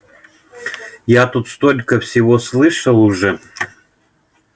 я тут столько всего слышал уже